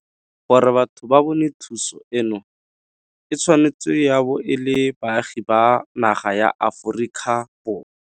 Gore batho ba bone thuso eno e tshwanetse ya bo e le baagi ba naga ya Aforika Borwa.